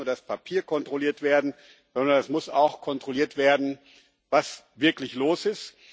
Es darf nicht nur das Papier kontrolliert werden, sondern es muss auch kontrolliert werden, was wirklich los ist.